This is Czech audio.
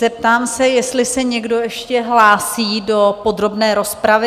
Zeptám se, jestli se někdo ještě hlásí do podrobné rozpravy?